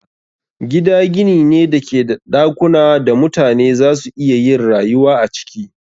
Gida gini ne da ke da dakunan da mutane za su iya yin rayuwa a ciki.